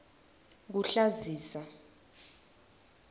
kuhlazisa